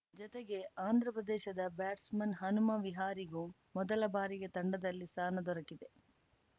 ಜತೆಗೆ ಆಂಧ್ರ ಪ್ರದೇಶದ ಬ್ಯಾಟ್ಸ್‌ಮನ್‌ ಹನುಮ ವಿಹಾರಿಗೂ ಮೊದಲ ಬಾರಿಗೆ ತಂಡದಲ್ಲಿ ಸ್ಥಾನ ದೊರೆತಿದೆ